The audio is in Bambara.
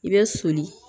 I bɛ soli